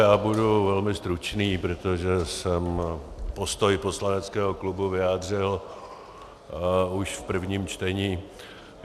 Já budu velmi stručný, protože jsem postoj poslaneckého klubu vyjádřil už v prvním čtení.